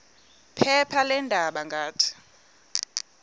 phepha leendaba ngathi